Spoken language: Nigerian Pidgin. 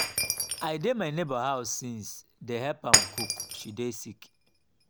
i dey my nebor house since dey help am cook she dey sick.